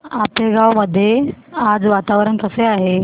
आपेगाव मध्ये आज वातावरण कसे आहे